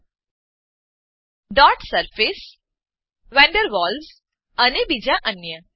dot surface dot surface van der Waals અને બીજા અન્ય